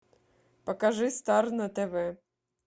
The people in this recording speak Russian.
покажи стар на тв